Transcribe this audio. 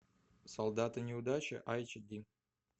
солдаты неудачи айч ди